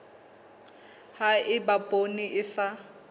ha eba poone e sa